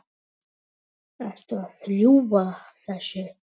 Ertu að ljúga þessu?